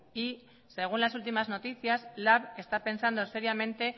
y según las últimas noticias lab está pensando seriamente